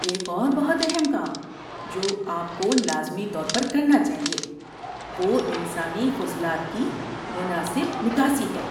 ایک اور بہت اہم کام جو آپ کو لازمی طور پر کرنا چاہیے وہ انسانی فضلات کی مناسب نکاسی ہے۔